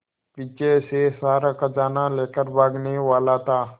पीछे से सारा खजाना लेकर भागने वाला था